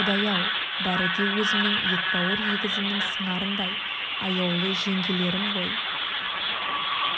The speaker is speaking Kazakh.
құдай-ау бәрі де өзімнің ет бауыр егізімнің сыңарындай аяулы жеңгелерім ғой